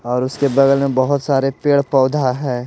और उसके बगल में बहुत सारे पेड़-पौधा हैं।